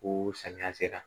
Ko samiya sera